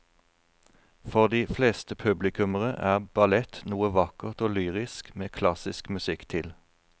For de fleste publikummere er ballett noe vakkert og lyrisk med klassisk musikk til.